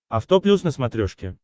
авто плюс на смотрешке